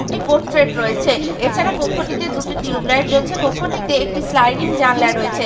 একটি পোট্রেট রয়েছে এছাড়া কক্ষটিতে দুটি টিউব লাইট জ্বলছে কক্ষটিতে একটি স্লাইডিং জানলা রয়েছে।